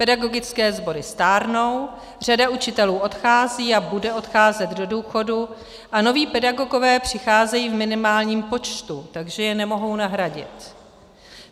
Pedagogické sbory stárnou, řada učitelů odchází a bude odcházet do důchodu a noví pedagogové přicházejí v minimálním počtu, takže je nemohou nahradit.